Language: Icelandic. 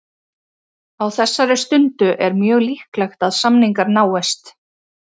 Á þessari stundu er mjög líklegt að samningar náist.